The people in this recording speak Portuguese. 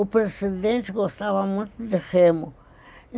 O presidente gostava muito de remo.